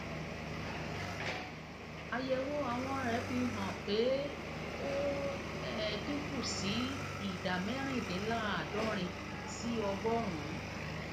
àyẹwò àwọn rẹ fi hàn pé ó um dín kù sí sí ìdá mẹrìndínláàádọrin sí ọgọrùnún